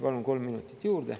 Palun kolm minutit juurde.